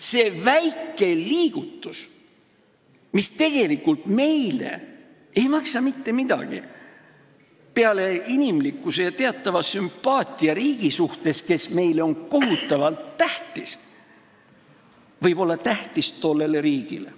See väike liigutus, mis tegelikult ei maksa meile mitte midagi – peale inimlikkuse ja teatava sümpaatia riigi vastu, kes on meile kohutavalt tähtis –, võib olla tähtis tollele riigile.